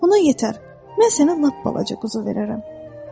Ona yetər, mən sənə lap balaca quzu verərəm.